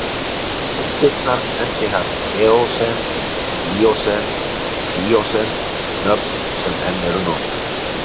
Deildirnar nefndi hann eósen, míósen og plíósen, nöfn sem enn eru notuð.